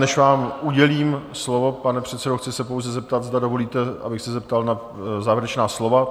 Než vám udělím slovo, pane předsedo, chci se pouze zeptat, zda dovolíte, abych se zeptal na závěrečná slova?